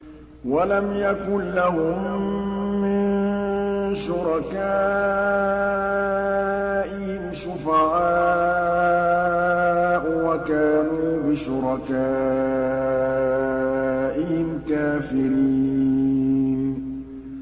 وَلَمْ يَكُن لَّهُم مِّن شُرَكَائِهِمْ شُفَعَاءُ وَكَانُوا بِشُرَكَائِهِمْ كَافِرِينَ